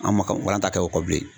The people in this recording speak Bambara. An' ma ka walanta kɛ o kɔ bilen.